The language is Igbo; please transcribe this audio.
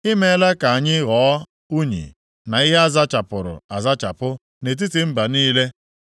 I meela ka anyị ghọọ unyi na ihe a zachapụrụ azachapụ nʼetiti mba niile.